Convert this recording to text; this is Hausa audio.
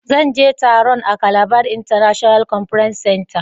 zan je taron a Calabar International conference center.